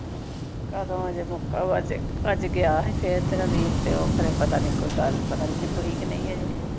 ਕਦੋਂ ਅਜੇ ਮੁਕਾਵਾਂ ਅਜੇ ਅਜ ਗਿਆ ਸੀ ਫੇਰ ਤੇਰਾ ਵੀਰ ਤੇ ਉਹ ਖਰੇ ਪਤਾ ਨਹੀਂ ਕੋਈ ਗਲ ਪਤਾ ਨਹੀਂ ਨਿੱਬੜੀ ਕੇ ਨਹੀਂ ਅਜੇ